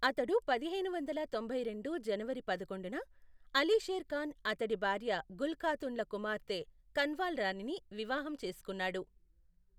అతడుపదిహేను వందల తొంభై రెండు జనవరి పదకొండున, అలీ షేర్ ఖాన్ అతడి భార్య గుల్ ఖాతున్ల కుమార్తె కన్వాల్ రాణిని వివాహం చేసుకున్నాడు.